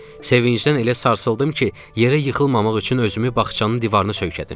Sevincdən elə sarsıldım ki, yerə yıxılmamaq üçün özümü bağçanın divarına söykədim.